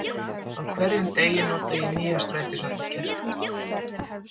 Í hverjum degi nota ég nýja strætisvagnakerfið.